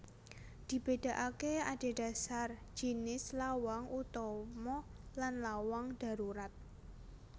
Dibédakaké andhedhasar jinis lawang utama lan lawang dharurat